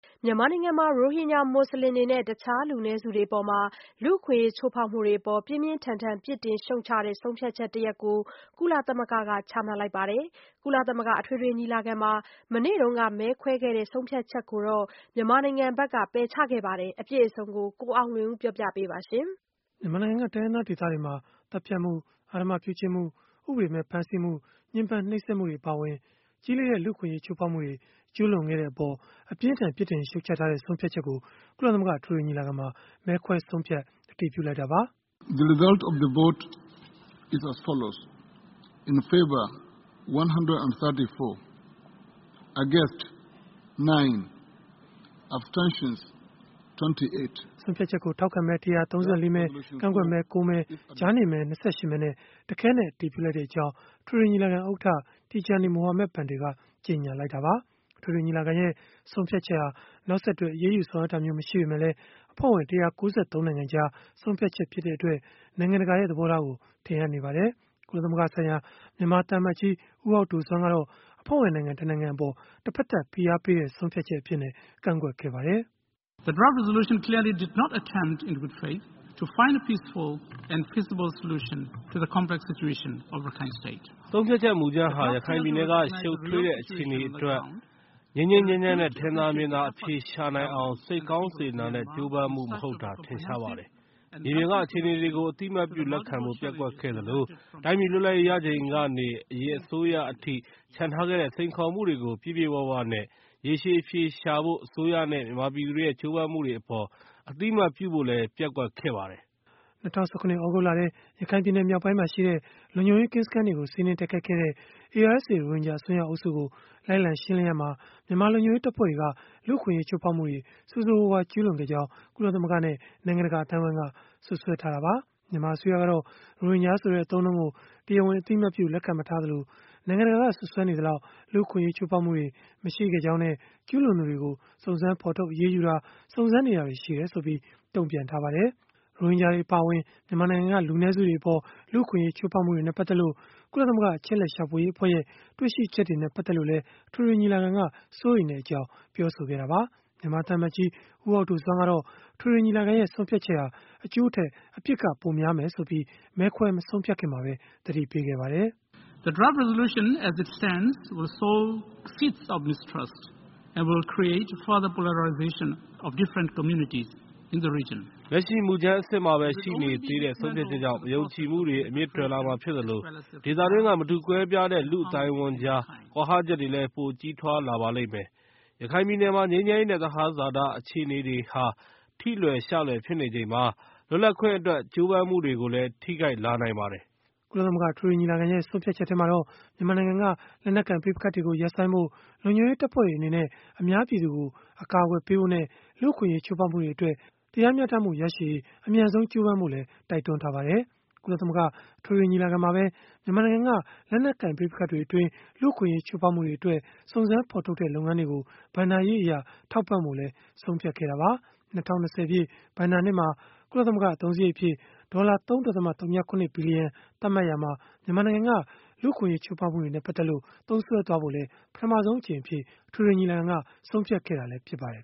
မြန်မာနိုင်ငံမှာ ရိုဟင်ဂျာ မွတ်စလင်တွေနဲ့ တခြားလူနည်းစုတွေအပေါ် လူ့အခွင့်အရေး ချိုးဖောက်မှုတွေအပေါ် ပြင်းပြင်းထန်ထန် ပြစ်တင်ရှုတ်ချတဲ့ ဆုံးဖြတ်ချက်တရပ်ကို ကုလသမဂ္ဂက ချမှတ်လိုက်ပါတယ်။ ကုလသမဂ္ဂ အထွေထွေညီလာခံမှာ မနေ့တုန်းက မဲခွဲခဲ့တဲ့ ဆုံးဖြတ်ချက်ကိုတော့ မြန်မာနိုင်ငံဘက်က ပယ်ချခဲ့တာပါ။ အပြည့်အစုံကိုတော့ ကိုအောင်လွင်ဦးက တင်ပြပေးထားပါတယ်။ မြန်မာနိုင်ငံက တိုင်းရင်းသားဒေသတွေမှာ သတ်ဖြတ်မှု၊ အဓမ္မပြုကျင့်မှု၊ ဥပဒေမဲ့ ဖမ်းဆီးမှု၊ ညှဉ်းပန်းနှိပ်စက်မှုတွေ အပါအဝင် ကြီးလေးတဲ့ လူ့အခွင့်အရေး ချိုးဖောက်မှုတွေ ကျူးလွန်ခဲ့တဲ့အပေါ် အပြင်းအထန် ပြစ်တင်ရှုတ်ချထားတဲ့ ဆုံးဖြတ်ချက်ကို ကုလသမဂ္ဂ အထွေထွေညီလာခံမှာ မဲခွဲဆုံးဖြတ် အတည်ပြုလိုက်တာပါ။ ဆုံးဖြတ်ချက်ကို ထောက်ခံမဲ ၁၃၄ မဲ၊ ကန့်ကွက်မဲ ၉ မဲ၊ ကြားနေမဲ ၂၈ မဲနဲ့ တခဲနက် အတည်ပြုကြောင်း အထွေထွေညီလာခံဥက္ကဋ္ဌ Tijjani Muhammad-Bande က ကြေညာခဲ့တာပါ။ အထွေထွေညီလာခံရဲ့ ဆုံးဖြတ်ချက်ဟာ နောက်ဆက်တွဲ အရေးယူဆောင်ရွက်တာမျိုး မရှိပေမယ့်လည်း အဖွဲ့ဝင် ၁၉၃ နိုင်ငံကြား ဆုံးဖြတ်ချက် ဖြစ်တဲ့အတွက် နိုင်ငံတကာရဲ့ သဘောထားကို ထင်ဟပ်နေပါတယ်။ ကုလသမဂ္ဂဆိုင်ရာ မြန်မာသံအမတ်ကြီး ဦးဟောက်ဒိုဆွမ်းကတော့ အဖွဲ့ဝင်နိုင်ငံ တနိုင်ငံအပေါ် တဖက်သတ် ဖိအားပေးတဲ့ ဆုံးဖြတ်ချက်အဖြစ် ကန့်ကွက်ခဲ့ပါတယ်။ “ဆုံးဖြတ်ချက်မူကြမ်းဟာ ရခိုင်ပြည်နယ်က ရှုပ်ထွေးတဲ့ အခြေအနေအတွက် ငြိမ်းငြိမ်းချမ်းချမ်းနဲ့ ထင်သာမြင်သာ အဖြေရှာနိုင်အောင် စိတ်ကောင်းစေတနာနဲ့ ကြိုးပမ်းမှုမဟုတ်တာ ထင်ရှားပါတယ်။ မြေပြင်က အခြေအနေတွေကို အသိအမှတ်ပြု လက်ခံဖို့ ပျက်ကွက်ခဲ့သလို တိုင်းပြည်လွတ်လပ်ရေး ရချိန်ကနေ အရင်အစိုးရအထိ ချန်ထားခဲ့တဲ့ စိန်ခေါ်မှုတွေကို ပြည့်ပြည့်၀၀နဲ့ ရေရှည်အဖြေရှာဖို့ အစိုးရနဲ့ မြန်မာပြည်သူတွေရဲ့ ကြိုးပမ်းမှုတွေအပေါ် အသိအမှတ်ပြုဖို့လည်း ပျက်ကွက်ခဲ့ပါတယ်။” ၂၀၁၇ သြဂုတ်လထဲ ရခိုင်ပြည်နယ် မြောက်ပိုင်းမှာရှိတဲ့ လုံခြုံရေးကင်းစခန်းတွေကို စီးနင်းတိုက်ခိုက်ခဲ့တဲ့ ARSA ရိုဟင်ဂျာ အစွန်းရောက်အုပ်စုကို လိုက်လံရှင်းလင်းရာမှာ မြန်မာလုံခြုံရေးတပ်ဖွဲ့တွေက လူ့အခွင့်အရေး ချိုးဖောက်မှုတွေ ဆိုးဆိုးရွားရွား ကျူးလွန်ခဲ့ကြောင်း ကုလသမဂ္ဂနဲ့ နိုင်ငံတကာ အသိုင်းအဝန်းက စွပ်စွဲထားတာပါ။ မြန်မာအစိုးရကတော့ ရိုဟင်ဂျာဆိုတဲ့ အသုံးအနှုန်းကို တရားဝင် အသိအမှတ်ပြု လက်ခံမထားသလို နိုင်ငံတကာက စွပ်စွဲနေသလောက် လူ့အခွင့်အရေး ချိုးဖောက်မှုတွေ မရှိခဲ့ကြောင်းနဲ့ ကျူးလွန်သူတွေကို စုံစမ်းဖော်ထုတ် အရေးယူတာ၊ စုံစမ်းနေတာတွေ ရှိတယ်ဆိုပြီး တုံ့ပြန်ထားပါတယ်။ ရိုဟင်ဂျာတွေ အပါအဝင် မြန်မာနိုင်ငံက လူနည်းစုတွေအပေါ် လူ့အခွင့်အရေး ချိုးဖောက်မှုတွေနဲ့ ပတ်သက်လို့ ကုလသမဂ္ဂ အချက်အလက် ရှာဖွေရေးအဖွဲ့ရဲ့ တွေ့ရှိချက်တွေနဲ့ ပတ်သက်လို့လည်း အထွေထွေညီလာခံက စိုးရိမ်ကြောင်း ပြောဆိုခဲ့တာပါ။ မြန်မာသံအမတ်ကြီး ဦးဟောက်ဒိုဆွမ်းကတော့ အထွေထွေညီလာခံရဲ့ ဆုံးဖြတ်ချက်ဟာ အကျိုးထက် အပြစ်က ပိုများလိမ့်မယ်ဆိုပြီး မဲခွဲမဆုံးဖြတ်ခင်မှာပဲ သတိပေးခဲ့ပါတယ်။ “လက်ရှိ မူကြမ်းအဆင့်မှာပဲ ရှိနေသေးတဲ့ ဆုံးဖြတ်ချက်ကြောင့် မယုံကြည်မှုတွေ အမြစ်တွယ်လာမှာဖြစ်သလို ဒေသတွင်းက မတူကွဲပြားတဲ့ လူ့အသိုင်းအဝန်းကြား ကွာဟချက်တွေလည်း ပိုကြီးထွားလာပါလိမ့်မယ်။ ရခိုင်ပြည်နယ်မှာ ငြိမ်းချမ်းရေးနဲ့ သဟဇတ အခြေအနေတွေဟာ ထိလွယ်ရှလွယ် ဖြစ်နေချိန်မှာ လွတ်လပ်ခွင့်အတွက် ကြိုးပမ်းမှုတွေကိုလည်း ထိခိုက်လာနိုင်ပါတယ်။” ကုလသမဂ္ဂ အထွေထွေညီလာခံရဲ့ ဆုံးဖြတ်ချက်မှာတော့ မြန်မာနိုင်ငံက လက်နက်ကိုင် ပဋိပက္ခတွေ ရပ်ဆိုင်းဖို့၊ လုံခြုံရေးတပ်ဖွဲ့တွေ အနေနဲ့ အများပြည်သူကို အကာအကွယ်ပေးဖို့နဲ့ လူ့အခွင့်အရေး ချိုးဖောက်မှုတွေအတွက် တရားမျှတမှု ရရှိရေး အမြန်ဆုံး ကြိုးပမ်းဖို့လည်း တိုက်တွန်းထားပါတယ်။ ကုလသမဂ္ဂ အထွေထွေညီလာခံမှာပဲ မြန်မာနိုင်ငံက လက်နက်ကိုင် ပဋိပက္ခတွေအတွင်း လူ့အခွင့်အရေး ချိုးဖောက်မှုတွေအတွက် စုံစမ်းဖော်ထုတ်တဲ့ လုပ်ငန်းတွေကို ဘဏ္ဍာရေးအရ ထောက်ပံ့ဖို့လည်း ဆုံးဖြတ်ခဲ့တာပါ။ ၂၀၂၀ ပြည့်် ဘဏ္ဍာနှစ်မှာ ကုလသမဂ္ဂ အသုံးစရိတ်အဖြစ် ဒေါ်လာ ၃.၀၇ ဘီလီယံ သတ်မှတ်ရာမှာ မြန်မာနိုင်ငံက လူ့အခွင့်အရေး ချိုးဖောက်မှုတွေနဲ့ ပတ်သက်လို့ သုံးစွဲဖို့လည်း ပထမဆုံးအကြိမ်အဖြစ် အထွေထွေညီလာခံက ဆုံးဖြတ်ခဲ့တာလည်း ဖြစ်ပါတယ်